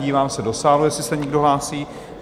Dívám se do sálu, jestli se někdo hlásí?